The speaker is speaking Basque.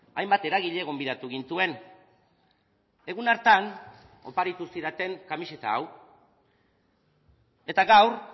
hainbat eragile gonbidatu gintuen egun hartan oparitu zidaten kamiseta hau eta gaur